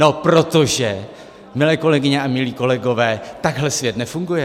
No protože, milé kolegyně a milí kolegové, takhle svět nefunguje.